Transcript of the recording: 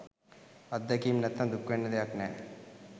අත්දැකීම් නැත්තං දුක්වෙන්න දෙයක් නෑ.